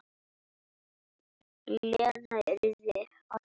Lena yrði að fara.